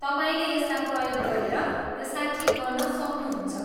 तपाईँले त्यसलाई प्रयोग गरेर यसलाई ठिक गर्न सक्नुहुन्छ।